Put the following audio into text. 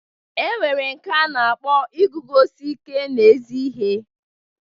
E nwere nke a na-akpọ iguzosi ike n'ezi ihe.